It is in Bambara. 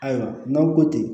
Ayiwa n'aw ko ko ten